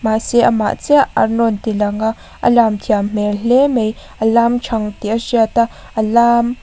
mahse amah chiah an rawn ti lang a a lam thiam hmel hle mai a lam thang tih a hriat a a lam --